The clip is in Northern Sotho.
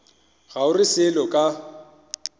ga o re selo ka